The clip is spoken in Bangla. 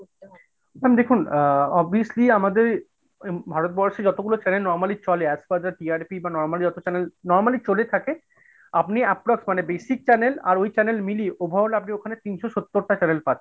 ma'am দেখুন obviously আমাদের ভারতবর্ষে যতগুলো channel normally চলে, as per TRP বা normal যত channel normally চলে থাকে আপনি approx মানে basic channel আর ওই channel মিলিয়ে overall ঐখানে আপনি তিনশ সত্তর টা channel পাচ্ছেন।